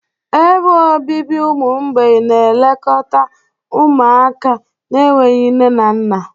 Ebe obibi ụmụ mgbei na-elekọta ụmụaka na-enweghị nne na nna.